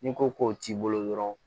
N'i ko k'o t'i bolo dɔrɔn